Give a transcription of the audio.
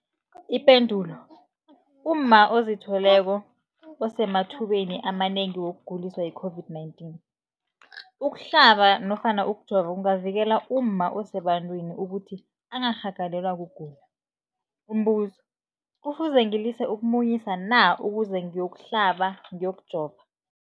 Ipendulo, umma ozithweleko usemathubeni amanengi wokuguliswa yi-COVID-19. Ukuhlaba nofana ukujova kungavikela umma osebantwini ukuthi angarhagalelwa kugula. Umbuzo, kufuze ngilise ukumunyisa na ukuze ngiyokuhlaba, ngiyokujova?